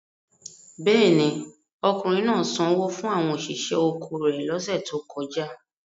Bẹ́ẹ̀ ni, ọkùnrin náà sanwó fún àwọn òṣìṣẹ́ oko rẹ̀ lọ́sẹ̀ tó kọjá.